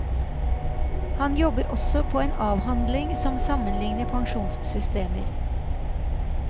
Han jobber også på en avhandling som sammenligner pensjonssystemer.